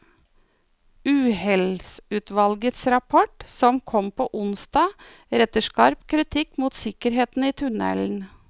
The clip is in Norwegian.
Uhellsutvalgets rapport, som kom på onsdag, retter skarp kritikk mot sikkerheten i tunnelen.